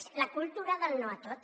és la cultura del no a tot